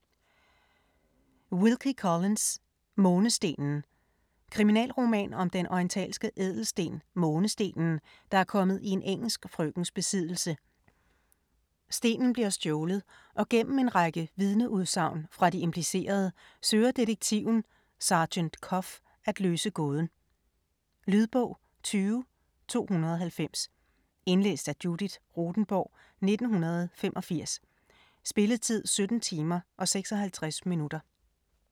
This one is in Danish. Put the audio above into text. Collins, Wilkie: Månestenen Kriminalroman om den orientalske ædelsten, Månestenen, der er kommet i en engelsk frøkens besiddelse. Stenen bliver stjålet, og gennem en række vidneudsagn fra de implicerede søger detektiven, sergent Cuff, at løse gåden. Lydbog 20290 Indlæst af Judith Rothenborg, 1985. Spilletid: 17 timer, 56 minutter.